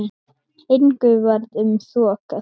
Engu varð um þokað.